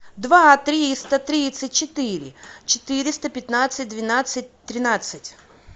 два триста тридцать четыре четыреста пятнадцать двенадцать тринадцать